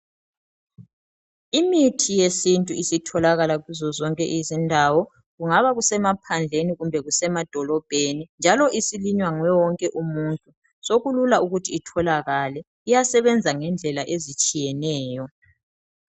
Imithi yesintu isitholakala kuzo zonke izindawo kungaba kusemaphandleni kumbe kusemadolobheni njalo isilinywa nguye wonke umuntu sokulula ukuthi itholakale iyasebenza ngendlela ezitshiyeneyo